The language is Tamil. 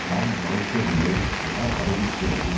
நாம் நினைக்கவில்லை என அறிவிக்கிறது